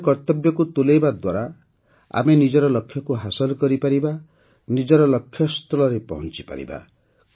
ନିଜର କର୍ତ୍ତବ୍ୟକୁ ତୁଲାଇବା ଦ୍ୱାରା ହିଁ ଆମେ ନିଜର ଲକ୍ଷ୍ୟକୁ ହାସଲ କରିପାରିବା ନିଜର ଲକ୍ଷ୍ୟସ୍ଥଳରେ ପହଞ୍ଚିପାରିବା